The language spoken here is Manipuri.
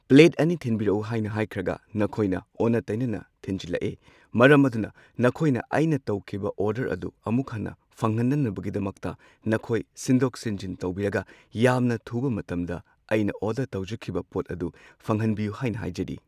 ꯄ꯭ꯂꯦꯠ ꯑꯅꯤ ꯊꯤꯟꯕꯤꯔꯛꯎ ꯍꯥꯏꯅ ꯍꯥꯏꯈ꯭ꯔꯒ ꯅꯈꯣꯏꯅ ꯑꯣꯟꯅ ꯇꯩꯅꯅ ꯊꯤꯟꯖꯜꯂꯛꯑꯦ꯫ ꯃꯔꯝ ꯑꯗꯨꯅ ꯅꯈꯣꯏꯅ ꯑꯩꯅ ꯇꯧꯈꯤꯕ ꯑꯣꯔꯗꯔ ꯑꯗꯣ ꯑꯃꯨꯛ ꯍꯟꯅ ꯐꯪꯍꯟꯅꯕꯒꯤꯗꯃꯛꯇ ꯅꯈꯣꯏ ꯁꯤꯟꯗꯣꯛ ꯁꯤꯟꯖꯤꯟ ꯇꯧꯕꯤꯔꯒ ꯌꯥꯝꯅ ꯊꯨꯕ ꯃꯇꯝꯗ ꯑꯩꯅ ꯑꯣꯔꯗꯔ ꯇꯧꯖꯈꯤꯕ ꯄꯣꯠ ꯑꯗꯨ ꯐꯪꯍꯟꯕꯤꯌꯨ ꯍꯥꯏꯅ ꯍꯥꯏꯖꯔꯤ꯫